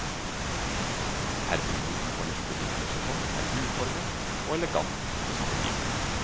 Herremoten for neste vintersesong er uformell og elegant på samme tid.